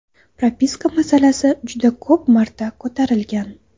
Propiska masalasi juda ko‘p marta ko‘tarilgan.